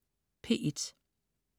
P1: